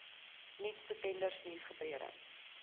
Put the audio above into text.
nuutste tenders nuusgebeure